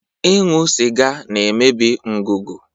Ịṅụ sịga na-emebi ngụgụ.